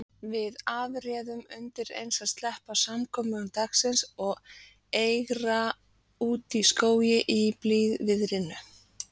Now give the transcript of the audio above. Við afréðum undireins að sleppa samkomum dagsins og eigra útí skóg í blíðviðrinu.